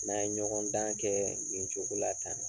N'an ye ɲɔgɔndan kɛɛ nin cogo la tan